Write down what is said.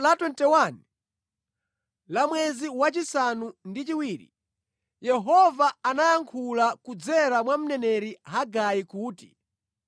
Pa tsiku la 21 la mwezi wachisanu ndi chiwiri, Yehova anayankhula kudzera mwa mneneri Hagai kuti: